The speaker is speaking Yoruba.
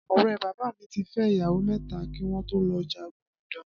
Ọ̀rẹ́ bàbá mi ti fẹ́ ìyàwó mẹ́ta kí wọn tó lọ jagun Edoma.